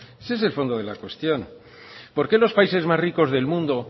ese es el fondo de la cuestión por qué los países más ricos del mundo